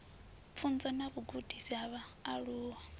pfunzo na vhugudisi ha vhaaluwa